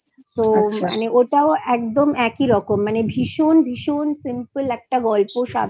আচ্ছা তো ওটাও একদম একই রকম মানে ভীষণ ভীষণ Simple একটা ভালো গল্প